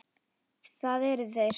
Það eru þeir.